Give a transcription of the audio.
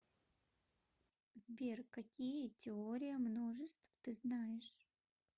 сбер какие теория множеств ты знаешь